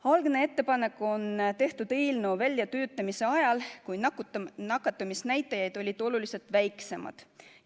Algne ettepanek on tehtud eelnõu väljatöötamise ajal, kui nakatumisnäitajaid olid oluliselt väiksemad.